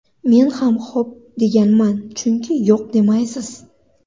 Men ham xo‘p, deganman, chunki yo‘q demaysiz.